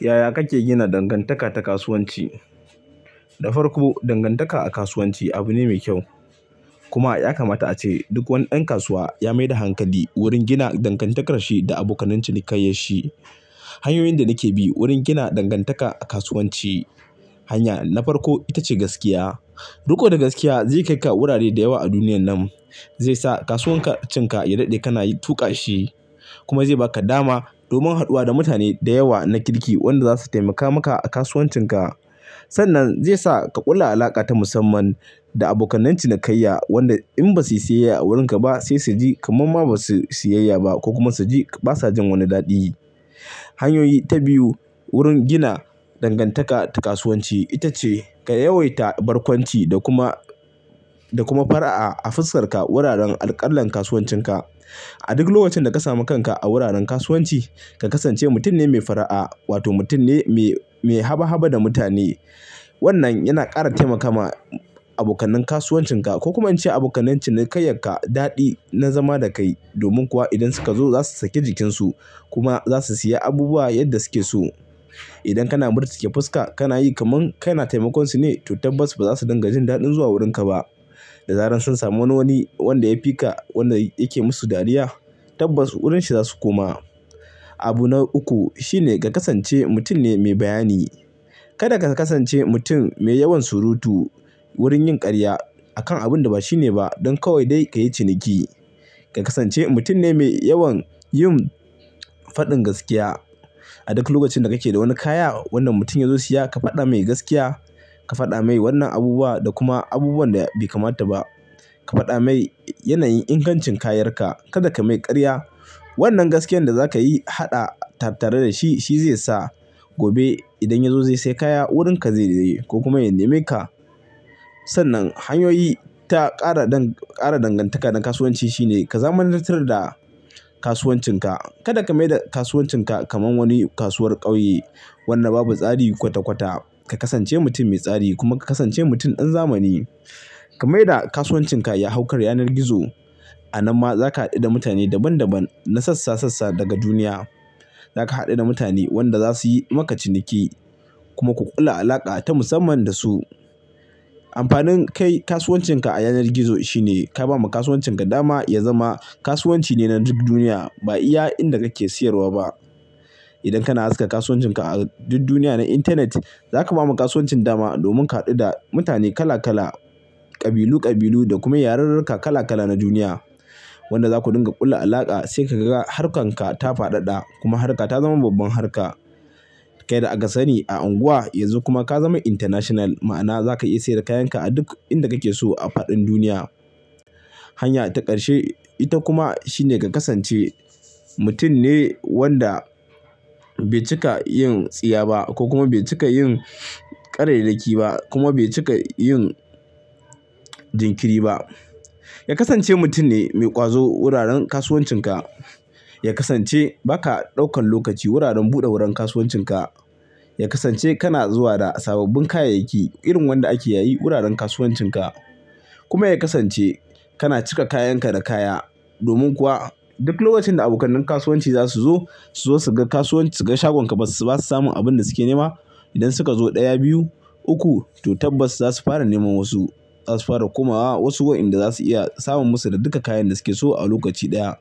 Yaya kake gina dangantaka ta kasuwanci? Da farko, dangantaka a kasuwanci abu ne mai kyau. Kuma ya kamata ace duk wani ɗan kasuwa ya mai da hankali wurin gina dangantakarshi da abokan cinikayyan shi. Hanyoyin da nake bi wurin gina dangantaka a kasuwanci. Hanya na farko ita ce gaskiya. Riƙo da gaskiya zai kai ka wurare da yawa a duniya nan. Zai sa kasuwancinka ya daɗe kana tuƙa shi kuma zai ba ka dama domin haduwa da mutane da yawa na kirki wanda za su taimaka maka a kasuwancinka. Sannan zai sa ka ƙulla alaƙa ta musamman da abokan cinikayya wanda in ba su siyayya a wurinka ba sai su ji kamar ma ba su sayayya ba ko kuma su ji basa jin wani daɗi. Hanyoyi ta biyu wurin gina dangantaka ta kasuwanci ita ce ka yawaita barkwanci da kuma, da kuma fara'a a fuskar ka wuraren alƙalar kasuwancinka. A duk lokacin da ka sami kanka a wuraren kasuwanci, ka kasance mutum ne mai fara'a wato mutum ne mai, mai haba haba da mutane. Wannan yana ƙara taimakawa abokanin kasuwancinka ko kuma an ce abokan cinikayya ka daɗi na zama da kai. Domin kuwa idan suka zo za su sake jikinsu kuma za su siya abubuwa yadda su ke so. Idan kana murtuke fuska kana yi kamar kai na taimakon su ne, to tabbas ba za su dinga jin daɗin zuwa wurinka ba. Da zaran sun sami wani wanda ya fi ka wanda yake musu dariya tabbas wurin shi za su koma. Abu na uku shine ka kasance mutum ne mai bayani. Kada ka kasance mutum mai yawan surutu wurin yin ƙarya akan abun da ba shi ne ba don kawai dai ka yi ciniki. Ka kasance mutum ne mai yawan yin faɗin gaskiya. A duk lokacin da kake da wani kaya, wannan mutum ya zo siya ka faɗa mai gaskiya. Ka faɗa mai wannan abubuwa da kuma abubuwan da bai kamata ba. Ka faɗa mai yanayin ingancin kayan ka. Kada ka mai ƙarya. Wannan gaskiyan da za ka yi haɗa tare da shi shi zai sa gobe idan ya zo zai siya kaya wurin ka zai je ko kuma ya nemi ka. Sannan hanyoyi ta ƙara dangantaka na kasuwanci shine ka zamantatar da kasuwancinka. Kada ka maida kasuwancinka kamar wani kasuwar ƙauye wanda babu tsari kwata kwata. Ka kasance mutum mai tsari kuma ka kasance mutum ɗan zamani. Ka maida kasuwancinka ya hau kar yanar gizo. A nan ma za ka haɗu da mutane daban daban na sassa sassa daga duniya. Za ka haɗu da mutane wanda za su yi maka ciniki kuma ku ƙulla alaƙa ta musamman da su. Amfanin kai kasuwancinka a yanar gizo shine ka ba ma kasuwancinka dama ya zama kasuwanci ne na duk duniya ba iya inda kake siyarwa ba. Idan kana haska kasuwancinka a duk duniya na intanet, za ka ba ma kasuwancin dama domin ka haɗu da mutane kala kala, ƙabilu ƙabilu da kuma yarurruka kala kala na duniya. Wanda za ku dinga kulla alaƙa sai ka ga harkarka ta faɗaɗa kuma harka ta zama babban harka. Kai da aka sani a unguwa yanzu kuma ka zama international ma'ana za ka iya siyar da kayan ka a duk inda kake so a faɗin duniya. Hanya ta ƙarshe ita kuma shine ka kasance mutum ne wanda bai cika yin tsiya ba ko kuma bai cika yin ƙare dake ba kuma bai cika yin jinkiri ba. Ya kasance mutum ne mai ƙwazo wuraren kasuwancinka. Ya kasance ba ka ɗaukan lokaci wuraren buɗe wurin kasuwancinka. Ya kasance kana zuwa da sababbin kayayyaki irin wanda ake yayi wuraren kasuwancinka. Kuma ya kasance kana cika kayan ka da kaya. Domin kuwa duk lokacin da abokanin kasuwanci za su zo su zo su ga kasuwanci su ga shagon ka basu samun abin da suke nema idan suka zo ɗaya, biyu, uku to tabbas za su fara nemo wasu. Za su fara komawa wasu wa'inda za su iya samun musu da duka kayan da suke so a lokaci ɗaya.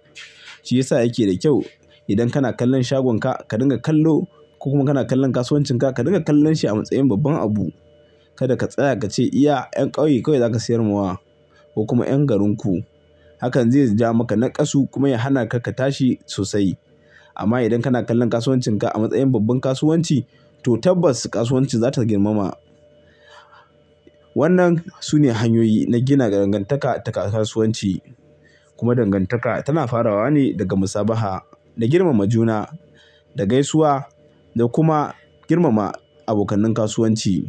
Shi ya sa yake da kyau idan kana kallon shagonka ka dinga kallo ko kuma kana kallon kasuwancinka ka dinga kallon shi a matsayin babban abu. Kada ka tsaya ka ce iya 'yan ƙauye kawai za ka siyar ma wa ko kuma 'yan garin ku. Hakan zai ja maka naƙasu kuma ya hana ka tashi sosai. Amma idan kana kallon kasuwancinka a matsayin babban kasuwanci to tabbas kasuwanci za ta girmama. Wannan sune hanyoyi na gina dangantaka ta kasuwanci. Kuma dangantaka tana farawa ne daga musabaha, da girmama juna, da gaisuwa da kuma girmama abokanin kasuwanci.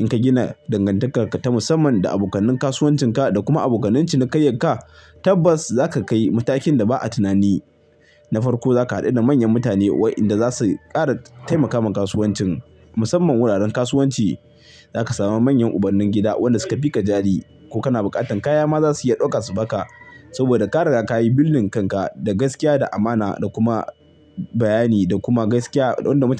In ka gina dangantakar ka ta musamman da abokanin kasuwancinka da kuma abokan cinikayyan ka tabbas za ka kai matakin da ba'a tunani. Na farko za ka haɗu da manyan mutane wa'inda za su ƙara taimakawa kasuwancin. Musamman wuraren kasuwanci za ka samu manyan ubannin gida wanda su ka fi ka jari ko kana buƙatar kaya ma za su iya ɗauka su ba ka. Saboda ka rera kayi billin kanka da gaskiya, da amana da kuma bayani da kuma gaskiya don da mutane.